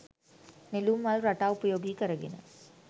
නෙළුම් මල් රටා උපයෝගී කරගෙන